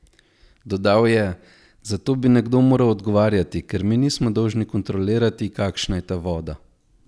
Dodal je: "Za to bi nekdo moral odgovarjati, ker mi nismo dolžni kontrolirati, kakšna je ta voda.